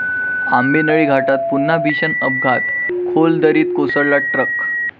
आंबेनळी घाटात पुन्हा भीषण अपघात, खोल दरीत कोसळला ट्रक